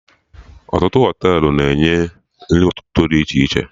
Ọtụtụ Họtelụ na-enye nri ụtụtụ dị iche iche